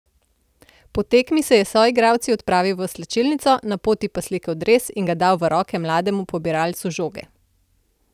Po tekmi se je s soigralci odpravil v slačilnico, na poti pa slekel dres in ga dal v roke mlademu pobiralcu žoge.